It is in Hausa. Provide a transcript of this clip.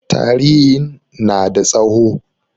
Tarihin na da tsawo.